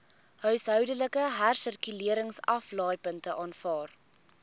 huishoudelike hersirkuleringsaflaaipunte aanvaar